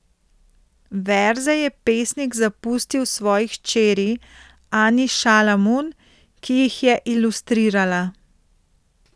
Verze je pesnik zapustil svoji hčeri Ani Šalamun, ki jih je ilustrirala.